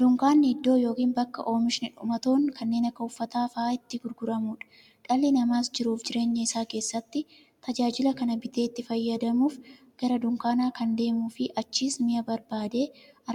Dunkaanni iddoo yookiin bakka oomishni dhumatoon kanneen akka uffataa faa'a itti gurguramuudha. Dhalli namaas jiruuf jireenya isaa keessatti, tajaajila kana bitee itti fayyadamuuf, gara dunkaanaa kan deemuufi achiis mi'a barbaade